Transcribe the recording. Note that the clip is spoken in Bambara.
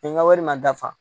N ka wari ma dafa